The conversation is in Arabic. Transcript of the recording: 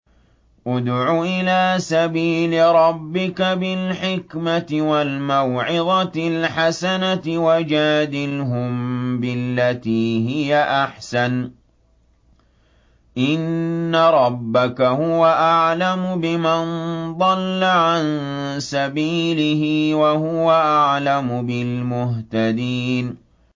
ادْعُ إِلَىٰ سَبِيلِ رَبِّكَ بِالْحِكْمَةِ وَالْمَوْعِظَةِ الْحَسَنَةِ ۖ وَجَادِلْهُم بِالَّتِي هِيَ أَحْسَنُ ۚ إِنَّ رَبَّكَ هُوَ أَعْلَمُ بِمَن ضَلَّ عَن سَبِيلِهِ ۖ وَهُوَ أَعْلَمُ بِالْمُهْتَدِينَ